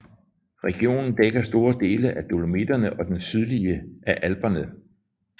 Regionen dækker store dele af Dolomitterne og den sydlige af Alperne